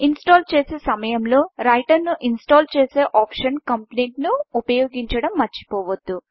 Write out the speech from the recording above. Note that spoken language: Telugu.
ఇన్ స్టల్ చేసే సమయంలో రైటర్ను ఇన్ స్టల్ చేసే ఆప్షన్ Completeకంప్లీట్ను ఉపయోగించడం మర్చిపోవద్దు